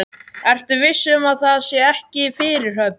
Ertu viss um að það sé ekki fyrirhöfn?